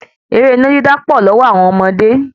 Ẹ̀rẹ́ iná dídá pọ̀ lọ́wọ́ àwọn ọmọdé